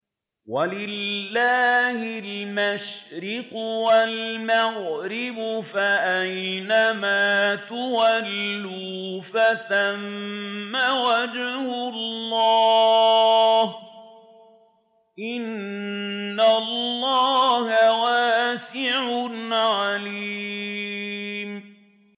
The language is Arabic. وَلِلَّهِ الْمَشْرِقُ وَالْمَغْرِبُ ۚ فَأَيْنَمَا تُوَلُّوا فَثَمَّ وَجْهُ اللَّهِ ۚ إِنَّ اللَّهَ وَاسِعٌ عَلِيمٌ